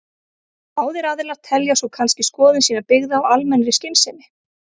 Báðir aðilar telja svo kannski skoðun sína byggða á almennri skynsemi.